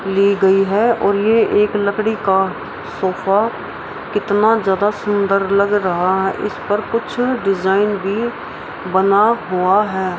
ली गई है और ये एक लकड़ी का सोफा कितना ज्यादा सुंदर लग रहा है इस पर कुछ डिजाइन भी बना हुआ है।